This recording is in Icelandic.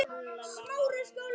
Hver stýrir þessu?